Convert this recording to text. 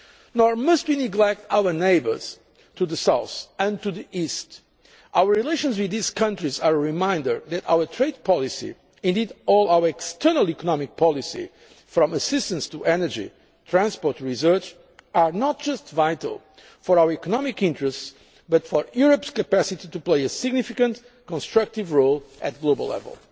world. Nor must we neglect our neighbours to the south and to the east. Our relations with these countries are a reminder that our trade policy, indeed all our external economic policy from assistance to energy, transport to research, is not just vital for our economic interests but for Europe's capacity to play a significant, constructive role at the global